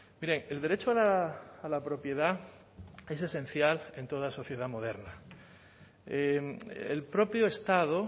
mire el derecho a la propiedad es esencial en toda sociedad moderna el propio estado